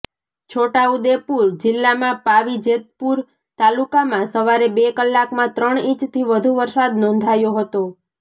છોટાઉદેપૂર જિલ્લામાં પાવીજેતપૂર તાલુકામાં સવારે બે કલાકમાં ત્રણ ઇંચથી વધુ વરસાદ નોંધાયો હતો